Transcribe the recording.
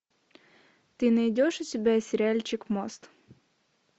ты найдешь у себя сериальчик мост